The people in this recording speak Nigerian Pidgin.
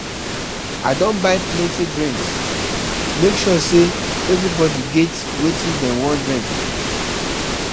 I don buy plenty drinks, make sure sey everybodi get wetin dem wan drink.